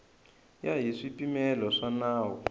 ya hi swipimelo swa nawu